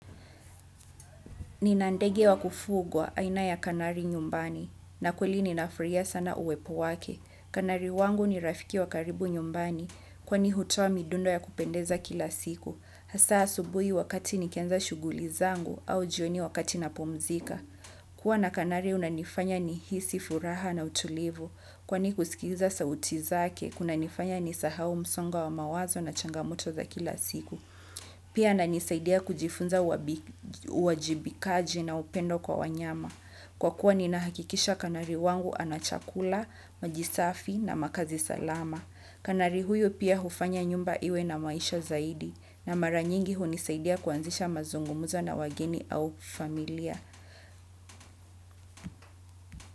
Nina ndege wa kufugwa aina ya kanari nyumbani na kweli ninafurahia sana uwepo wake. Kanari wangu ni rafiki wa karibu nyumbani kwani hutoa midundo ya kupendeza kila siku. Hasa asubuhi wakati nikianza shughuli zangu au jioni wakati napumzika. Kuwa na kanari unanifanya nihisi furaha na utulivu kwani kusikiza sauti zake kunanifanya nisahau msongo wa mawazo na changamoto za kila siku. Pia ananisaidia kujifunza uwajibikaji na upendo kwa wanyama. Kwa kuwa ninahakikisha kanari wangu ana chakula, maji safi na makazi salama. Kanari huyu pia hufanya nyumba iwe na maisha zaidi. Na mara nyingi hunisaidia kuanzisha mazungumzo na wageni au familia.